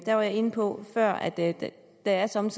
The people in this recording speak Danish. jeg inde på før at der at der somme